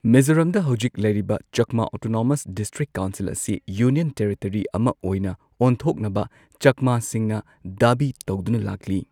ꯃꯤꯖꯣꯔꯥꯝꯗ ꯍꯧꯖꯤꯛ ꯂꯩꯔꯤꯕ ꯆꯛꯃꯥ ꯑꯣꯇꯣꯅꯣꯃꯁ ꯗꯤꯁꯇ꯭ꯔꯤꯛ ꯀꯥꯎꯟꯁꯤꯜ ꯑꯁꯤ ꯌꯨꯅꯤꯌꯟ ꯇꯦꯔꯤꯇꯔꯤ ꯑꯃ ꯑꯣꯏꯅ ꯑꯣꯟꯊꯣꯛꯅꯕ ꯆꯛꯃꯥꯁꯤꯡꯅ ꯗꯥꯕꯤ ꯇꯧꯗꯨꯅ ꯂꯥꯛꯂꯤ꯫